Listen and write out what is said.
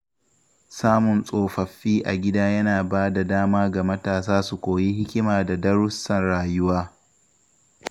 Samun tsofaffi a gida yana ba da dama ga matasa su koyi hikima da darussan rayuwa.